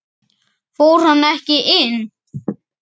Fór hann ekki inn?